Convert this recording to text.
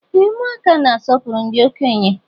Ee ụmụaka na-asọpụrụ ndị okenye.